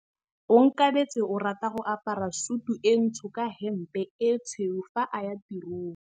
Onkabetse o rata go apara sutu e ntsho ka hempe e tshweu fa a ya tirong.